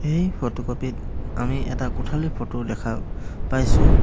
এই ফটোকপি ত আমি এটা কোঠালীৰ ফটো দেখা পাইছোঁ।